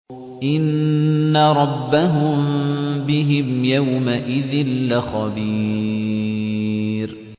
إِنَّ رَبَّهُم بِهِمْ يَوْمَئِذٍ لَّخَبِيرٌ